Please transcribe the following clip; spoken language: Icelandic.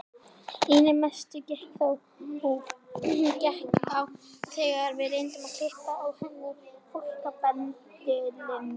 Einna mest gekk á þegar við reyndum að klippa á henni flókabendilinn.